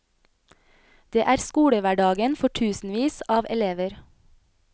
Det er skolehverdagen for tusenvis av elever.